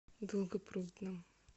долгопрудном